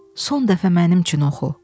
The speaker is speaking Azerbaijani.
Son dəfə mənim üçün oxu!